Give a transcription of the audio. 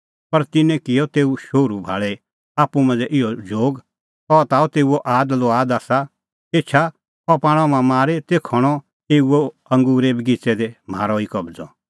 पर तिन्नैं किअ तेऊ शोहरू भाल़ी आप्पू मांझ़ै इहअ जोग अह ता तेऊओ आदलुआद आसा एछा अह पाणअ हाम्हां मारी तेखअ हणअ एऊ अंगूरे बगिच़ै दी म्हारअ ई कबज़अ